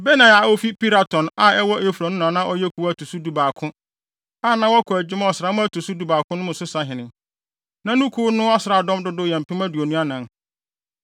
Benaia a ofi Piraton a ɛwɔ Efraim no na na ɔyɛ kuw a ɛto so dubaako, a na wɔkɔ adwuma ɔsram a ɛto so dubaako mu no so sahene. Na ne kuw no asraafodɔm dodow yɛ mpem aduonu anan (24,000).